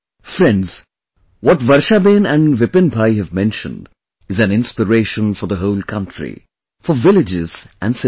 Friends, what Varshaben and Vipin Bhai have mentioned is an inspiration for the whole country, for villages and cities